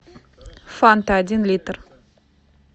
фанта один литр